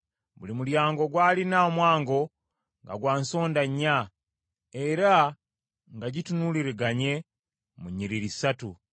Buli mulyango gwalina omwango nga gwa nsonda nnya, era nga gitunuuliraganye mu nnyiriri ssatu.